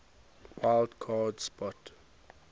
wild card spot